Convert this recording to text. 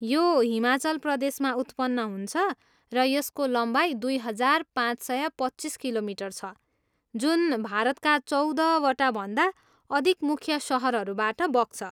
यो हिमाचल प्रदेशमा उत्पन्न हुन्छ र यसको लम्बाइ दुई हजार पाँच सय पच्चिस किलोमिटर छ जुन भारतका चौध वटाभन्दा अधिक मुख्य सहरहरूबाट बग्छ।